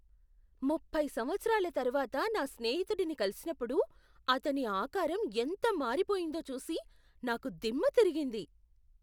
ముప్పై సంవత్సరాల తర్వాత నా స్నేహితుడిని కలిసినప్పుడు అతని ఆకారం ఎంత మారిపోయిందో చూసి నాకు దిమ్మ తిరిగింది.